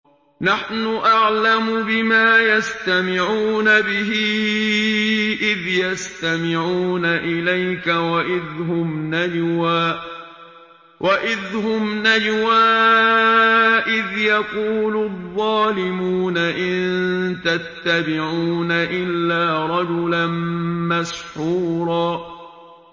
نَّحْنُ أَعْلَمُ بِمَا يَسْتَمِعُونَ بِهِ إِذْ يَسْتَمِعُونَ إِلَيْكَ وَإِذْ هُمْ نَجْوَىٰ إِذْ يَقُولُ الظَّالِمُونَ إِن تَتَّبِعُونَ إِلَّا رَجُلًا مَّسْحُورًا